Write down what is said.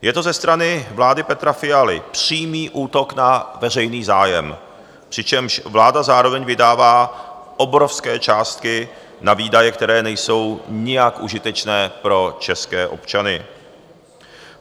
Je to ze strany vlády Petra Fialy přímý útok na veřejný zájem, přičemž vláda zároveň vydává obrovské částky na výdaje, které nejsou nijak užitečné pro české občany.